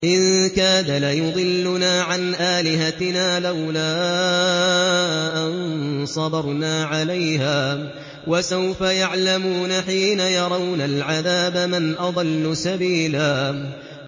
إِن كَادَ لَيُضِلُّنَا عَنْ آلِهَتِنَا لَوْلَا أَن صَبَرْنَا عَلَيْهَا ۚ وَسَوْفَ يَعْلَمُونَ حِينَ يَرَوْنَ الْعَذَابَ مَنْ أَضَلُّ سَبِيلًا